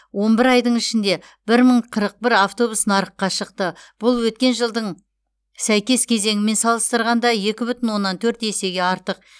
он бір айдың ішінде бір мың қырық бір автобус нарыққа шықты бұл өткен жылдың сәйкес кезеңімен салыстырғанда екі бүтін оннан төрт есеге артық